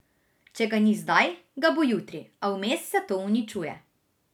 Če ga ni zdaj, ga bo jutri, a vmes se to uničuje.